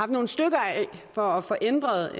nogle stykker af for at få ændret